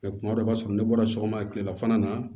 kuma dɔ i b'a sɔrɔ ne bɔra sɔgɔma kilelafana na